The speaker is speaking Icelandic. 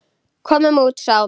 Komum út, sagði hún.